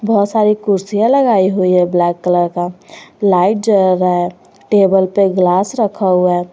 बहुत सारी कुर्सियाँ लगाई हुई है ब्लैक कलर का लाइट जल रहा है टेबल पे ग्लास रखा हुआ है।